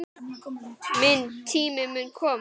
Minn tími mun koma.